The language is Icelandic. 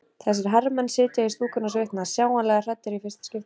Þessir herramenn sitja í stúkunni og svitna, sjáanlega hræddir í fyrsta skipti.